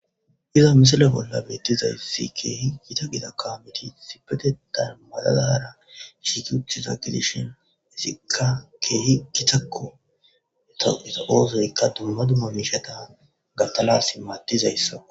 iza misila bolla beettizayssi keehi gita gida kaameti sipetetan maladara shikiuthiza gi dishin esikka keehi gitakko eta oosoyykka dumma dumma miishetan gatalasi maatizayssa